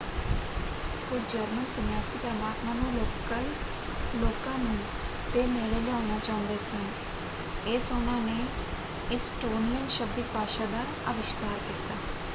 ਕੁਝ ਜਰਮਨ ਸੰਨਿਆਸੀ ਪ੍ਰਮਾਤਮਾ ਨੂੰ ਲੋਕਲ ਲੋਕਾਂ ਨੂੰ ਦੇ ਨੇੜੇ ਲਿਆਉਣਾ ਚਾਹੁੰਦੇ ਸਨ ਇਸ ਉਹਨਾਂ ਨੇ ਇਸਟੋਨਿਅਨ ਸ਼ਬਦਿਕ ਭਾਸ਼ਾ ਦਾ ਅਵਿਸ਼ਕਾਰ ਕੀਤਾ।